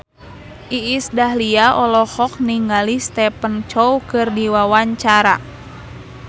Iis Dahlia olohok ningali Stephen Chow keur diwawancara